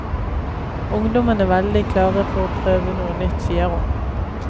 Ungdommen er veldig klare for å prøve noe nytt, sier hun.